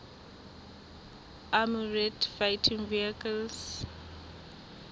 armoured fighting vehicles